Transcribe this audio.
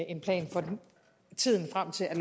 en plan for tiden frem til at